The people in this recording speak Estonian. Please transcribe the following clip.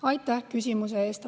Aitäh küsimuse eest!